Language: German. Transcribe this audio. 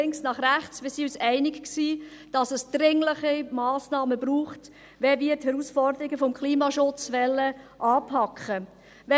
Wir waren uns einig, dass es dringliche Massnahmen braucht, wenn wir die Herausforderungen des Klimaschutzes anpacken wollen.